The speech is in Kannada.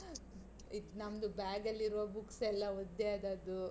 ಇದ್ ನಮ್ದು bag ಅಲ್ಲಿರುವ books ಎಲ್ಲ ಒದ್ದೆ ಆದದ್ದು.